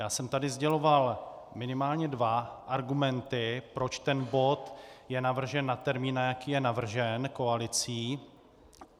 Já jsem tady sděloval minimálně dva argumenty, proč ten bod je navržen na termín, na jaký je navržen koalicí.